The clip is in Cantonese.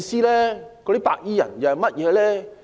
那些白衣人是甚麼人？